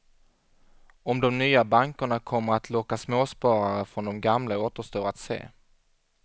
Om de nya bankerna kommer att locka småsparare från de gamla återstår att se.